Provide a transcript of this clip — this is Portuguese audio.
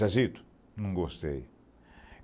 Zezito, não gostei.